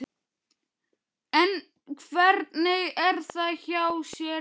En hvernig er það hjá þér Ísbjörg?